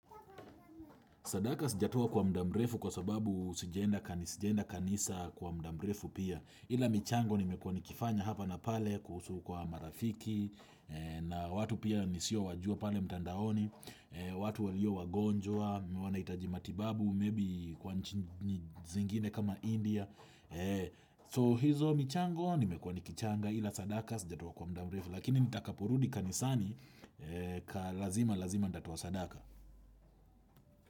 Sadaka sijatoa kwa muda mrefu kwa sababu sijaenda kanisa kwa muda mrefu pia. Ila michango nimekuwa nikifanya hapa na pale kuhusu kwa marafiki na watu pia nisio wajua pale mtandaoni. Watu walio wagonjwa, wanahitaji matibabu, maybe kwa nchi zingine kama India. So hizo michango nimekuwa nikichanga ila sadaka sijatoa kwa muda mrefu. Lakini nitakaporudi kanisani ka lazima-lazima nitatoa sadaka.